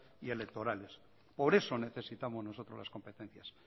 y electorales por eso necesitamos nosotros las competencias